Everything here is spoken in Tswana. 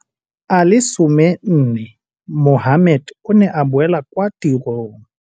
A le 14, Mohammed o ne a boela kwa tirong.